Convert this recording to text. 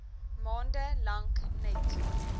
maande lank net